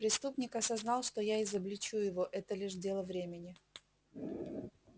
преступник осознал что я изобличу его это лишь дело времени